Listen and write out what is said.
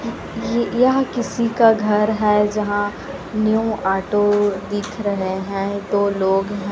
य यह किसी का घर है जहां न्यू ऑटो दिख रहे हैं दो लोग--